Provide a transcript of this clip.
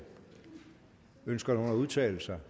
ønsker nogen at udtale sig